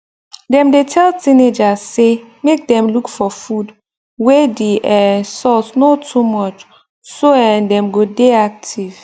dem dey tell teenagers say make dem look for food wey the um salt no too much so um dem go dey active